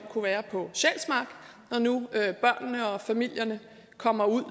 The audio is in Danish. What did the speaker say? kunne være på sjælsmark når nu børnene og familierne kommer ud